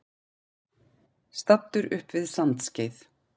Staddur upp við Sandskeið.